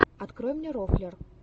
открой мне рофлер